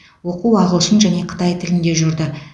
оқу ағылшын және қытай тілінде жүрді